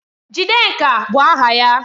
Jidenka bụ aha ya